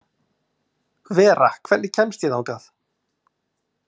Vera, hvernig kemst ég þangað?